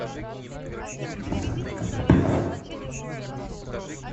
виталий коноплев